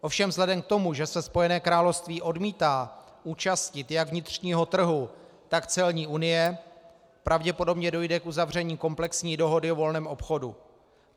Ovšem vzhledem k tomu, že se Spojené království odmítá účastnit jak vnitřního trhu, tak celní unie, pravděpodobně dojde k uzavření komplexní dohody o volném obchodu.